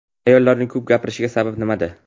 Ayollarning ko‘p gapirishi sababi nimada?.